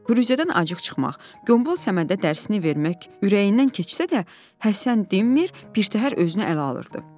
Firuzədən acıq çıxmaq, qombal Səmədə dərsini vermək ürəyindən keçsə də, Həsən dinmir, birtəhər özünü ələ alırdı.